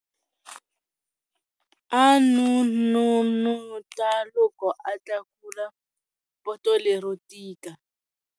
A n'unun'uta loko a tlakula poto lero tika